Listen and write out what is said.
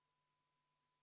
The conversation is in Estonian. V a h e a e g